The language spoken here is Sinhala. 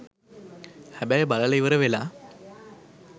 හැබැයි බලලා ඉවර වෙලා